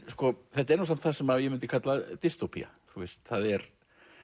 þetta er nú samt það sem ég myndi kalla þú veist það er